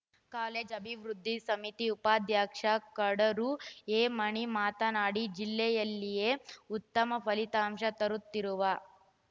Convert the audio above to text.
college ಅಭಿವೃದ್ಧಿ ಸಮಿತಿ ಉಪಾಧ್ಯಕ್ಷ ಕಡೂರು ಎಮಣಿ ಮಾತನಾಡಿ ಜಿಲ್ಲೆಯಲ್ಲಿಯೇ ಉತ್ತಮ ಫಲಿತಾಂಶ ತರುತ್ತಿರುವ